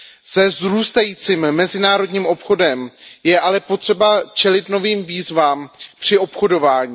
Se vzrůstajícím mezinárodním obchodem je ale potřeba čelit novým výzvám při obchodování.